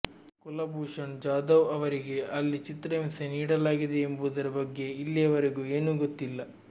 ಕುಲಭೂಷಣ್ ಜಾಧವ್ ಅವರಿಗೆ ಅಲ್ಲಿ ಚಿತ್ರಹಿಂಸೆ ನೀಡಲಾಗಿದೆಯೇ ಎಂಬುದರ ಬಗ್ಗೆ ಇಲ್ಲಿಯವರೆಗೆ ಏನೂ ಗೊತ್ತಿಲ್ಲ